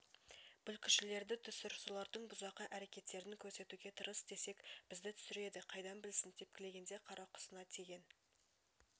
бүлкішілерді түсір солардың бұзақы әрекеттерін көрсетуге тырыс десек бізді түсіреді қайдан білсін тепкілегенде қарақұсына тиген